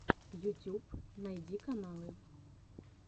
ютюб найди каналы